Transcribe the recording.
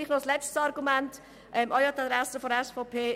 Ein letztes Argument auch an die Adresse der SVP.